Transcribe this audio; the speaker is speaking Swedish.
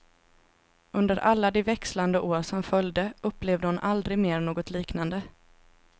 Under alla de växlande år som följde upplevde hon aldrig mer något liknande.